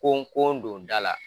Kon kon don da la